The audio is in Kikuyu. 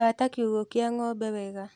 Hata kiugũ kĩa ngombe wega